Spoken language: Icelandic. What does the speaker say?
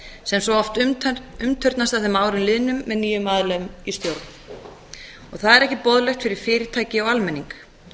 sem svo oft umturnast að þeim árum liðnum með nýjum aðilum í stjórn og það er ekki boðlegt fyrir fyrirtæki og almenning